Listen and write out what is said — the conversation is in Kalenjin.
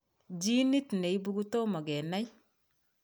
Genit neibu kotoma kenai